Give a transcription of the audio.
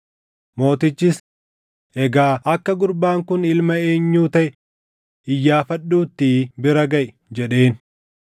Mootichis, “Egaa akka gurbaan kun ilma eenyuu taʼe iyyaafadhuuttii bira gaʼi” jedheen.